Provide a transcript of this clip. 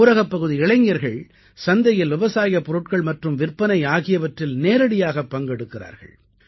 ஊரகப்பகுதி இளைஞர்கள் சந்தையில் விவசாயப் பொருள்கள் மற்றும் விற்பனை ஆகியவற்றில் நேரடியாக பங்கெடுக்கிறார்கள்